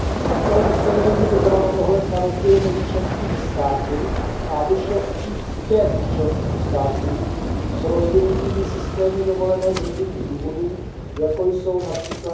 Takové ustanovení by bralo ohled na rozdíly mezi členskými státy a vyšlo vstříc těm členským státům s rozvinutými systémy dovolené z rodinných důvodů, jako jsou např.